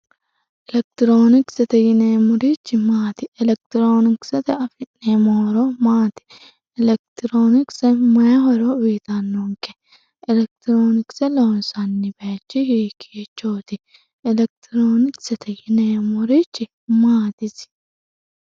Elekitironkise yineemmorichi maati, elekitironkisete affi'neemmori maati, elekitironkise maayi horo affidhano, elekitironkise loonsanni hiikkichoti, elekitironkisete yineemmorichi maati isi?